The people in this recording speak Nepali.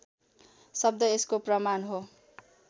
शब्द यसको प्रमाण हो